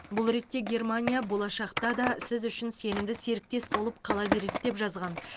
бұл ретте германия болашақта да сіз үшін сенімді серіктес болып қала береді деп жазған